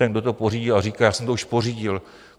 Ten, kdo to pořídil a říká - já jsem to už pořídil.